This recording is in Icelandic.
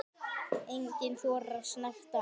Enginn þorir að snerta hann.